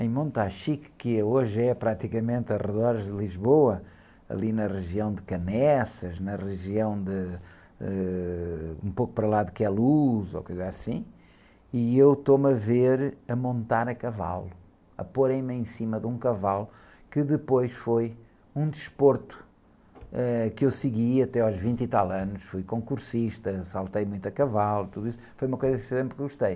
em Montachique, que hoje é praticamente aos redores de Lisboa, ali na região de Caneças, na região de... Ãh... Um pouco para lá de Queluz, ou coisa assim, e eu estou-me a ver a montar a cavalo, a porem-me em cima de um cavalo que depois foi um desporto, eh, que eu segui até aos vinte e tal anos, fui concursista, saltei muito a cavalo, tudo isso, foi uma coisa que sempre gostei.